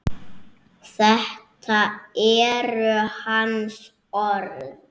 Þetta eru hans orð.